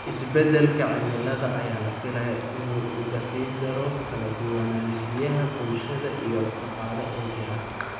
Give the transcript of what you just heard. Isbeddelka cimilada ayaa la filayaa inuu uga sii daro kala duwanaanshiyaha bulsho iyo dhaqaale ee jira.